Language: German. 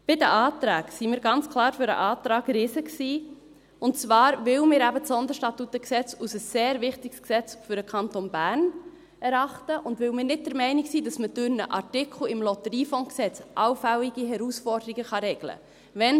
Bei den Anträgen waren wir ganz klar für den Antrag Riesen, und zwar, weil wir eben das SStG als ein sehr wichtiges Gesetz für den Kanton Bern erachten und weil wir nicht der Meinung sind, dass wir durch einen Artikel im LotG allfällige Herausforderungen regeln können.